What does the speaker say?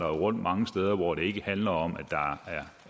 rundt mange steder hvor det ikke handler om at